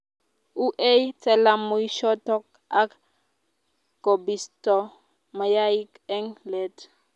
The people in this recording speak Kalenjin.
uei talamoichoto ak kobisto mayaik eng let